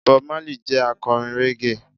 Bob Marley jẹ́ akọrin Reggae.